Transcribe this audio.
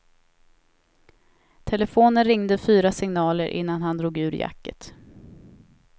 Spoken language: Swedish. Telefonen ringde fyra signaler innan han drog ur jacket.